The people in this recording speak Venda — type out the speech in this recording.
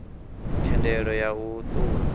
thendelo ya u ṱun ḓa